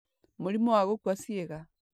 Mũrimũ wa gũkua ciĩga;